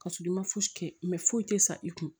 Kasɔrɔ i ma fosi kɛ foyi tɛ sa i kun